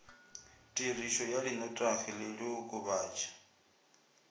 tirišo ya dinotagi le diokobatši